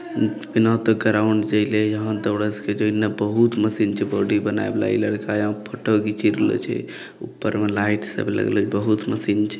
बिना ते ग्राउंड जइले या यहां दौड़े सके छै इना बहुत मशीन छै बॉडी बनाए वाला ई लड़का यहां फोटो खींची रहलो छै ऊपर में लाइट सब लगलो बहुत मशीन छै।